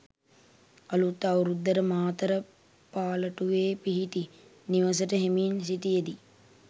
අලුත් අවුරුද්දට මාතර පාලටුවේ පිහිටි නිවසට එමින් සිටියදී